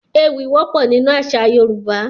Poems are common in Yoruba culture